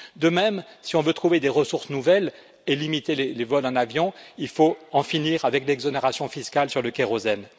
De même, si on peut trouver des ressources nouvelles et limiter les vols en avion, il faut en finir avec l'exonération fiscale sur le kérosène.